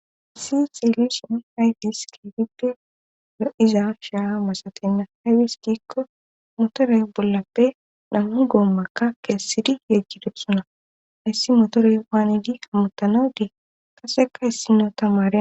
issi xelusion haytis keefippe dadiza shaa masatenna hewis giikko motorey bollappe nammu goommakka keessidi yeggidepsona hissi motorey paanidi hammutanadii kaseka hissino tamare.